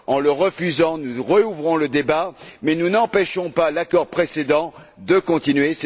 En le refusant, nous rouvrons le débat mais nous n'empêchons pas l'accord précédent de continuer.